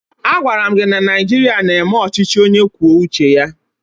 Agwara m gị na Naịjirịa na-eme ọchịchị onye kwuo uche ya!